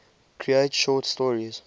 create short stories